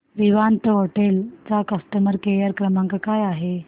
Vivanta hotel चा customer care क्रमांक काय आहे